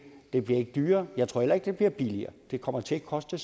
blive dyrere jeg tror heller ikke at det bliver billigere det kommer til at koste